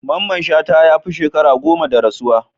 Mamman Shata ya fi sheka goma da rasuwa.